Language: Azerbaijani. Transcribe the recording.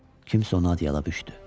Kimsə onu adyalabüşdü.